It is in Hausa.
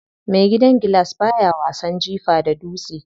Mai gidan gilas baya wasan jifa da dutse.